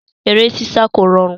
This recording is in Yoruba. Eré sísá kò rọrùn.